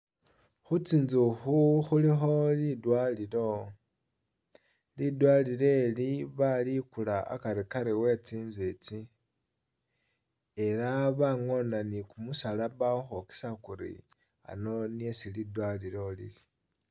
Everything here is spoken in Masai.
Khutsintsukhu khulikho lidwalilo lidwalilo eli baligula hakarkari we tsintsu etsi ela bangona ni kumusalaba khukesa kuri hano ni esi lidwalilo lili.